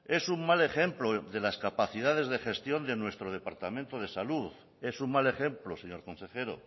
es un mal ejemplo de las capacidades de gestión de nuestro departamento de salud es un mal ejemplo señor consejero